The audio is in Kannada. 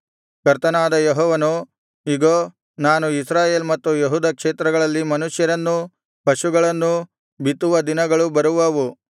ಕರ್ತನಾದ ಯೆಹೋವನು ಇಗೋ ನಾನು ಇಸ್ರಾಯೇಲ್ ಮತ್ತು ಯೆಹೂದ ಕ್ಷೇತ್ರಗಳಲ್ಲಿ ಮನುಷ್ಯರನ್ನೂ ಪಶುಗಳನ್ನೂ ಬಿತ್ತುವ ದಿನಗಳು ಬರುವವು